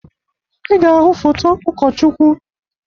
Ị ga-ahụ foto ụkọchukwu.